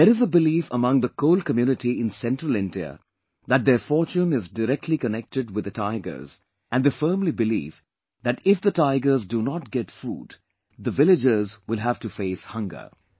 There is a belief among the Kol community in Central India that their fortune is directly connected with the tigers and they firmly believe that if the tigers do not get food, the villagers will have to facehunger